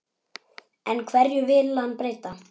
En hverju vill hann breyta?